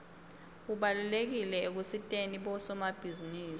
ubalulekile ekusiteni bosomabhizinisi